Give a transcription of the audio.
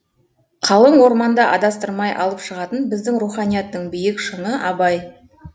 қалың орманда адастырмай алып шығатын біздің руханияттың биік шыңы абай